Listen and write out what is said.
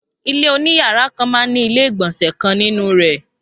Ilé oní yàrá kan man ní ilé ìgbọ̀nsẹ̀ kan nínú rè